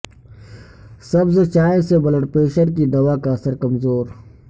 سبز چائےسے blood pressure کی دوا کا اثر کمزور